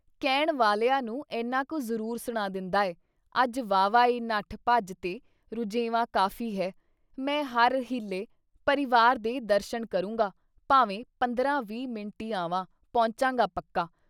ਕਹਿਣ ਵਾਲਿਆਂ ਨੂੰ ਏਨਾਂ ਕੁ ਜ਼ਰੂਰ ਸੁਣਾ ਦਿੰਦਾ ਹੈ - ਅੱਜ ਵਾਹਵਾ ਈ ਨੱਠ ਭੱਜ ਤੇ ਰੁਝੇਵਾਂ ਕਾਫੀ ਹੈ, ਮੈਂ ਹਰ ਹੀਲੇ ਪਰਿਵਾਰ ਦੇ ਦਰਸ਼ਣ ਕਰੂੰਗਾ, ਭਾਵੇਂ ਪੰਦਰਾਂ ਵੀਹ ਮਿੰਟ ਈ ਆਵਾਂ ਪਹੁੰਚੂਗਾ ਪੱਕਾ।"